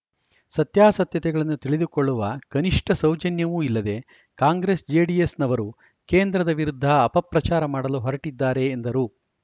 ಸತ್ಯಾಸತ್ಯತೆಗಳನ್ನು ತಿಳಿದುಕೊಳ್ಳುವ ಕನಿಷ್ಠ ಸೌಜನ್ಯವೂ ಇಲ್ಲದೆ ಕಾಂಗ್ರೆಸ್‌ಜೆಡಿಎಸ್‌ ನವರು ಕೇಂದ್ರದ ವಿರುದ್ಧ ಅಪಪ್ರಚಾರ ಮಾಡಲು ಹೊರಟಿದ್ದಾರೆ ಎಂದರು